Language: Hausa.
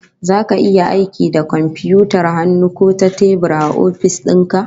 Zaka yi aiki da komfiyutar hannu ko ta tebur a ofis din ka?